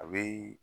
A bɛ